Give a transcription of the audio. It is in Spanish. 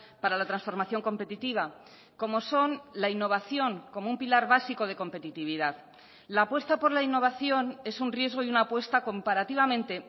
para la transformación competitiva como son la innovación como un pilar básico de competitividad la apuesta por la innovación es un riesgo y una apuesta comparativamente